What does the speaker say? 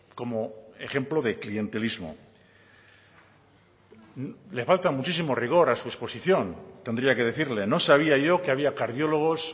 como ejemplo de clientelismo le falta muchísimo rigor a su exposición tendría que decirle no sabía yo que había cardiólogos